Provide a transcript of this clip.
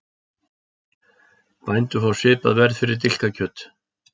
Bændur fá svipað verð fyrir dilkakjöt